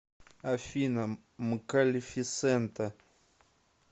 афина мкалефисента